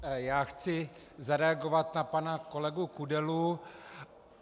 Já chci zareagovat na pana kolegu Kudelu.